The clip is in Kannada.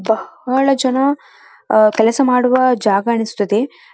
ಬಹಳ ಜನ ಕೆಲಸ ಮಾಡುವ ಜಾಗ ಅನಿಸುತ್ತದೆ.